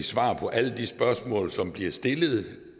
svar på alle de spørgsmål som bliver stillet det